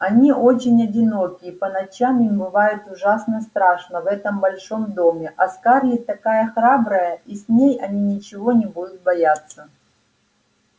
они очень одиноки и по ночам им бывает ужасно страшно в этом большом доме а скарлетт такая храбрая и с ней они ничего не будут бояться